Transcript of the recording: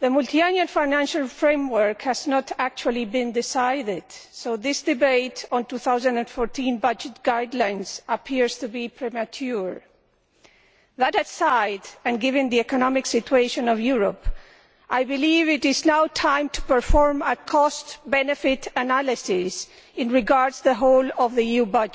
the Multiannual Financial Framework has not actually been decided so this debate on 2014 budget guidelines appears to be premature. That aside, and given the economic situation of Europe, I believe it is now time to perform a cost benefit analysis in regard to the whole of the EU budget.